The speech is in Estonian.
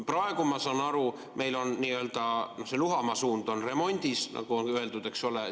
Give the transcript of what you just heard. Praegu, ma saan aru, meil on see nii-öelda Luhamaa suund remondis, nagu öeldud, eks ole.